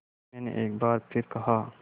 मैंने एक बार फिर कहा